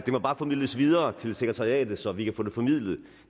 må bare formidles videre til sekretariatet så vi kan få det formidlet